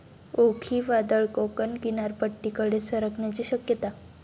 ओखी वादळ कोकण किनारपट्टीकडे सरकण्याची शक्यता